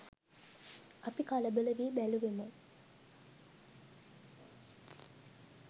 අපි කලබල වී බැලුවෙමු